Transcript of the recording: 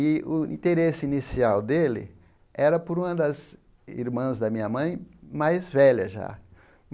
E o interesse inicial dele era por uma das irmãs da minha mãe mais velha já.